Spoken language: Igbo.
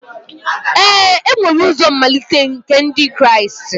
Ee e nwere ụzọ mmalite nke Ndị Kraịst